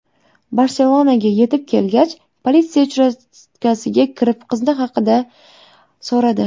Barselonaga yetib kelgach, politsiya uchastkasiga kirib, qizi haqida so‘radi.